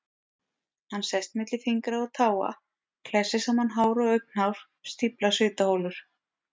Hann sest milli fingra og táa, klessir saman hár og augnhár, stíflar svitaholur.